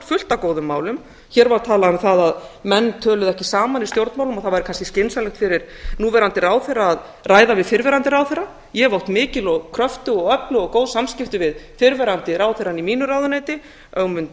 fullt af góðum málum hér var talað um að menn töluðu ekki saman í stjórnmálum og það væri kannski skynsamlegt fyrir núverandi ráðherra að ræða við fyrrverandi ráðherra ég hef átt mikil og kröftug og öflug og góð samskipti við fyrrverandi ráðherrana í mínu ráðuneyti ögmund